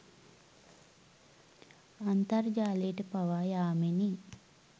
අන්තර්ජාලයට පවා යාමෙනි.